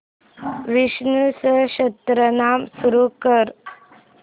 विष्णु सहस्त्रनाम सुरू कर